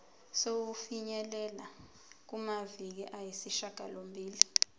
sokufinyelela kumaviki ayisishagalombili